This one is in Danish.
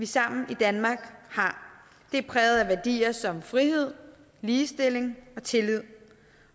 sammen i danmark det er præget af værdier som frihed ligestilling og tillid